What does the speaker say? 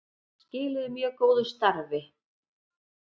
Skiluðu mjög góðu starfi